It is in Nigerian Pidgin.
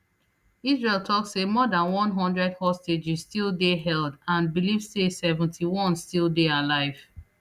israel tok say more dan one hundred hostages still dey held and believe say seventy-one still dey alive